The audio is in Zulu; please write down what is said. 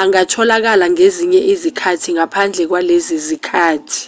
angatholakala ngezinye izikhathi ngaphandle kwalezi zikhathi